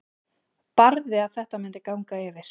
Barði að þetta myndi ganga yfir.